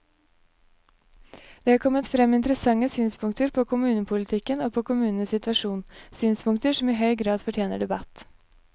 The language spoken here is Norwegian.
Det er kommet frem interessante synspunkter på kommunepolitikken og på kommunenes situasjon, synspunkter som i høy grad fortjener debatt.